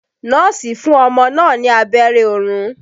Nọ́ọ̀sì fún ọmọ náà ní abẹ́rẹ́ orun.